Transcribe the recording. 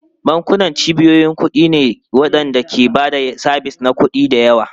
Bankuna cibiyoyin kuɗi ne waɗanda ke ba da sabis na kuɗi da yawa.